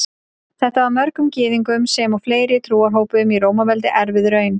Þetta var mörgum Gyðingum sem og fleiri trúarhópum í Rómaveldi erfið raun.